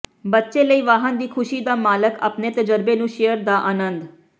ਬੱਚੇ ਲਈ ਵਾਹਨ ਦੀ ਖੁਸ਼ੀ ਦਾ ਮਾਲਕ ਆਪਣੇ ਤਜਰਬੇ ਨੂੰ ਸ਼ੇਅਰ ਦਾ ਆਨੰਦ